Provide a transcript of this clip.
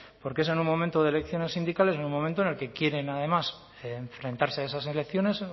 porque es en un momento de elecciones sindicales y un momento en el que quieren además enfrentarse a esas elecciones